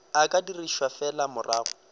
o ka dirišwa fela morago